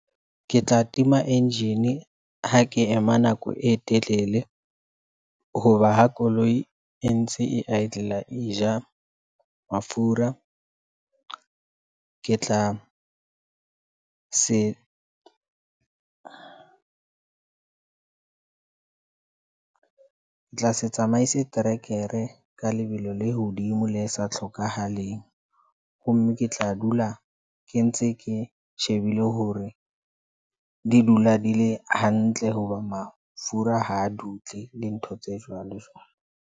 Ke tla tima engine ha ke ema nako e telele hoba ha koloi e ntse e idler e ja mafura. Ke tla se tsamaise trekere ka lebelo le hodimo le sa tlhokahaleng. Ho mme ke tla dula ke ntse ke shebile hore di dula di le hantle hoba mafura ha dule le ntho tse jwalo jwalo.